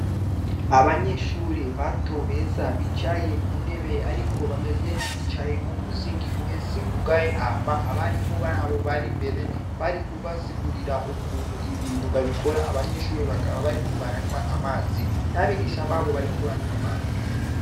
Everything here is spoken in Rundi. Abanyeshure bato beza bicaye kuntebe ariko bameze nkabicaye mumuzingi uhese wugaye hama abarimu babo bari imbere bari kubasigurira ukuntu ibintu babikora abanyeshure bakaba bariko baranwa amazi n'abagisha babo bariko baranywa amazi.